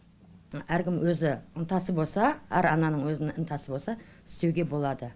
әркімнің өзі ынтасы болса әр ананың өз ынтасы болса істеуге болады